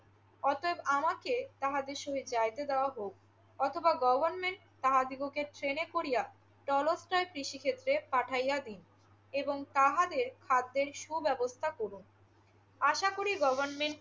অতএব আমাকে তাহার সহিত যাইতে দেওয়া হউক। অথবা গভর্নমেন্ট তাহাদিগকে ট্রেনে করিয়া চলকচায় কৃষিক্ষেত্রে পাঠাইয়া দিন এবং তাহাদের খাদ্যের সুব্যবস্থা করুন। আশা করি গভর্নমেন্ট